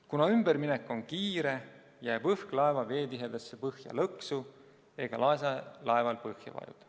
Kuna ümberminek on kiire, jääb õhk laeva veetihedasse põhja lõksu ega lase laeval põhja vajuda.